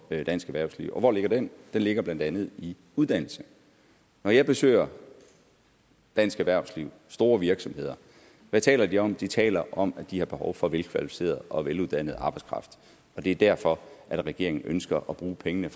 dansk erhvervsliv og hvor ligger den den ligger blandt andet i uddannelse når jeg besøger dansk erhvervsliv store virksomheder hvad taler de så om de taler om at de har behov for velkvalificeret og veluddannet arbejdskraft og det er derfor regeringen ønsker at bruge pengene